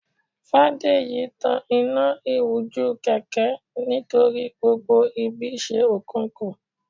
fadeyi tàn Ina iwujú kẹkẹ nítorí gbógbó ibí se okùnku